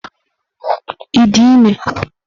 Ị dị ime?